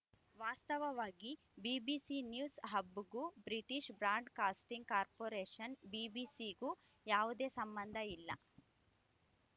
ವಾಸ್ತವವಾಗಿ BBC news ಹಬ್‌ಗೂ British broadcasting corporation ಬಿಬಿಸಿಗೂ ಯಾವುದೇ ಸಂಬಂಧ ಇಲ್ಲ